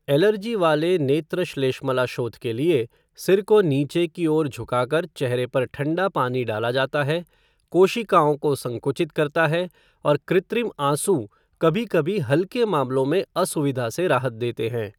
Allergy वाले नेत्रश्लेष्मलाशोथ के लिए, सिर को नीचे की ओर झुकाकर चेहरे पर ठंडा पानी डाला जाता है, कोशिकाओं को संकुचित करता है, और कृत्रिम आँसू कभी कभी हल्के मामलों में असुविधा से राहत देते हैं।